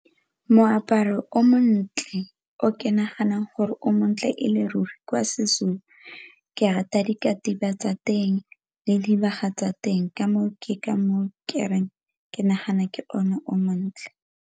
Moaparo o montle o ke naganang gore o montle e le ruri kwa seZulu ke rata dikatiba tsa teng le dibaga tsa teng, ka moo ke ka moo ke reng ke nagana ke one o montle.